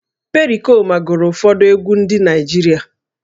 Perikoma gụrụ ụfọdụ egwú ndị Igbo